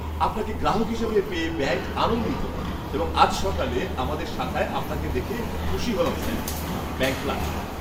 আপনাকে গ্রাহক হিসেবে পেয়ে ব্যাঙ্ক আনন্দিত এবং আজ সকালে আমাদের শাখায় আপনাকে দেখে খুশি হলাম, স্যার! Bank clerk